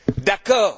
D'accord!